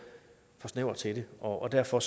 snæver til det og derfor